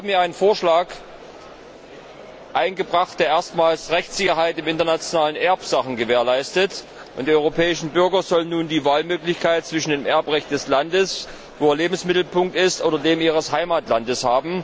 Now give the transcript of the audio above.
Wir haben einen Vorschlag eingebracht, der erstmals Rechtssicherheit in internationalen Erbsachen gewährleistet, und die europäischen Bürger sollen nun die Wahlmöglichkeit haben zwischen dem Erbrecht des Landes, in dem ihr Lebensmittelpunkt ist, und dem ihres Heimatlandes.